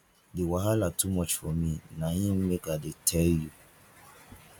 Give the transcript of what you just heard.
di wahala too much for me na im make i dey tell you